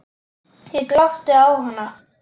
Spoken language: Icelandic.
Ég glápti á hana.